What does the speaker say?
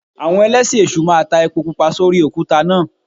Àwọn Ẹlẹ́sìn èṣù máa ta epo Pupa sórí òkúta náà.